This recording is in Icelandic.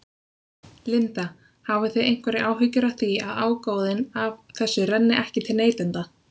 Linda: Hafið þið einhverjar áhyggjur af því að ágóðinn af þessu renni ekki til neytenda?